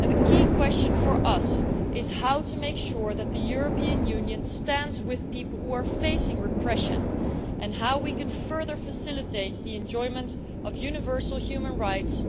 And the key question for us is how to make sure that the European Union stands with people who are facing repression, and how we can further facilitate the enjoyment of universal human rights